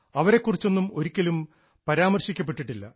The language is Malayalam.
അവരെ കുറിച്ചൊന്നും ഒരിക്കലും പരാമർശിക്കപ്പെട്ടിട്ടില്ല